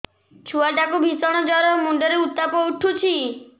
ଛୁଆ ଟା କୁ ଭିଷଣ ଜର ମୁଣ୍ଡ ରେ ଉତ୍ତାପ ଉଠୁଛି